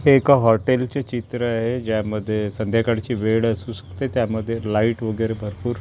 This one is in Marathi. हे एका हॉटेल चे चित्र आहे. यामध्ये संध्याकाळची वेळ असू शकते. त्यामध्ये लाईट वगैरे भरपूर--